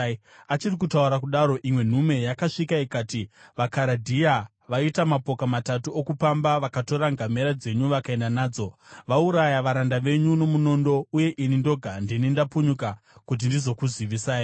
Achiri kutaura kudaro, imwe nhume yakasvika ikati, “VaKaradhea vaita mapoka matatu okupamba vakatora ngamera dzenyu vakaenda nadzo. Vauraya varanda venyu nomunondo, uye ini ndoga ndini ndapunyuka kuti ndizokuzivisai!”